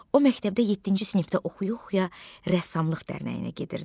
O məktəbdə yeddinci sinifdə oxuya-oxuya rəssamlıq dərnəyinə gedirdi.